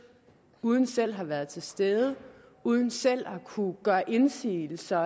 uden selv at have været til stede uden selv at have kunnet gøre indsigelse